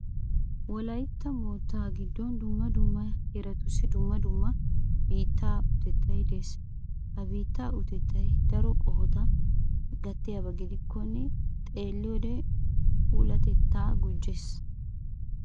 Wolaytta moottaa giddon dumma dumma heeratussi dumma dumma biittaa utettay de'ees. Ha biittaa utettay daro qohota gattiyaba gidikkonne xeelliyode puulatettaa gujjees.